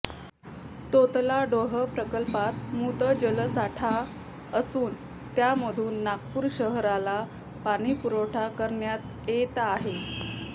तोतलाडोह प्रकल्पात मृत जलसाठा असून त्यामधून नागपूर शहराला पाणीपुरवठा करण्यात येत आहे